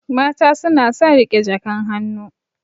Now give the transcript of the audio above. Mata suna son riƙe jakan hannu.